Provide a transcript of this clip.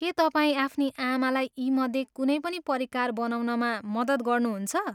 के तपाईँ आफ्नी आमालाई यीमध्ये कुनै पनि परिकार बनाउनमा मद्दत गर्नुहुन्छ?